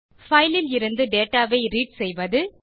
file லிருந்து data ஐ read செய்வது